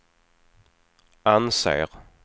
anser